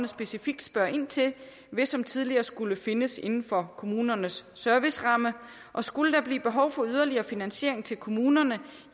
specifikt spørger ind til vil som tidligere skulle findes inden for kommunernes serviceramme og skulle der blive behov for yderligere finansiering til kommunerne